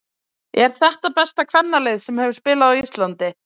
Er þetta besta kvennalið sem hefur spilað á Íslandi?